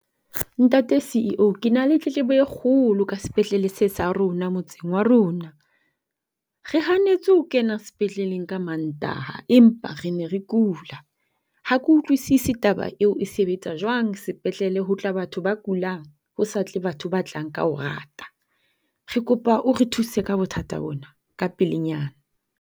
Ntate C_E_O, ke na le tletlebo e kgolo ka sepetlele se sa rona motseng wa rona. Re hanetswe ho kena sepetleng ka Mantaha empa re ne re kula. Ha ke utlwisisi taba eo e sebetsa jwang sepetlele ho tla batho ba kulang ho sa tle batho ba tlang ka ho rata. Re kopa o re thuse ka bothata bona ka pelenyana.